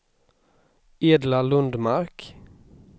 Edla Lundmark